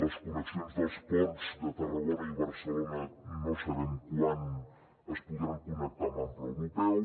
les connexions dels ports de tarragona i barcelona no sabem quan es podran connectar amb ample europeu